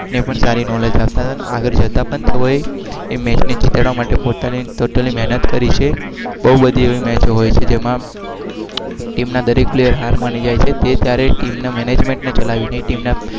એ